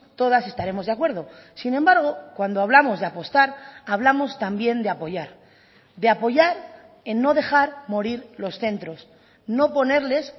todas estaremos de acuerdo sin embargo cuando hablamos de apostar hablamos también de apoyar de apoyar en no dejar morir los centros no ponerles